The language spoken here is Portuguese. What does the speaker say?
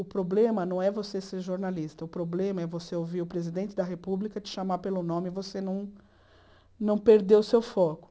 O problema não é você ser jornalista, o problema é você ouvir o presidente da República te chamar pelo nome e você não não perder o seu foco.